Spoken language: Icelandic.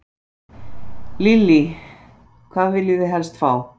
Lillý: Hvað viljið þið helst fá?